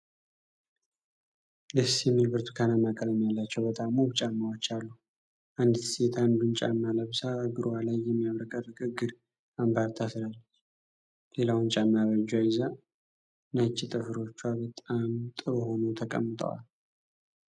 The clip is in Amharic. ደስ የሚል ብርቱካናማ ቀለም ያላቸው በጣም ውብ ጫማዎች አሉ። አንዲት ሴት አንዱን ጫማ ለብሳ፣ እግሯ ላይ የሚያብረቀርቅ የእግር አምባር ታስራለች። ሌላውን ጫማ በእጇ ይዛ፣ ነጭ ጥፍሮቿ በጣም ጥሩ ሆነው ተቀምጠዋል።